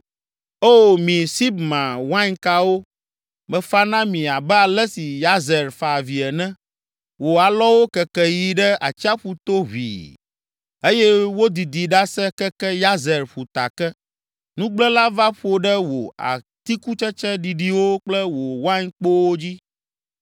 O, mi Sibma wainkawo, mefa na mi abe ale si Yazer fa avi ene. Wò alɔwo keke yi ɖe atsiaƒu to ʋĩi eye wodidi ɖase keke Yazer ƒuta ke. Nugblẽla va ƒo ɖe wò atikutsetse ɖiɖiwo kple wò wainkpowo dzi.